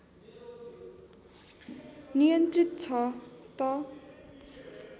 नियन्त्रित छ त